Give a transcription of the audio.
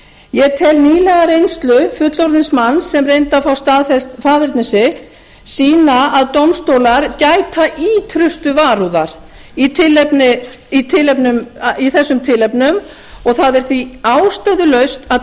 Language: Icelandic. ég tel nýlega reynslu fullorðins manns sem reyndi að fá staðfest faðerni sitt sýna að dómstólar gæta ýtrustu varúðar í þessum tilefnum og það er því ástæðulaust að